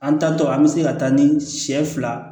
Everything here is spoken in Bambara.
An tatɔ an bɛ se ka taa ni siɲɛ fila